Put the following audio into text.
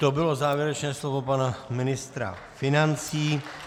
To bylo závěrečné slovo pana ministra financí.